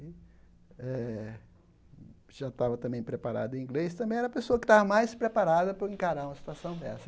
E eh já estava também preparado em inglês, também era a pessoa que estava mais preparada para encarar uma situação dessa.